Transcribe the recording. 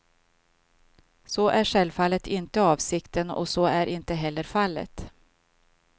Så är självfallet inte avsikten och så är inte heller fallet.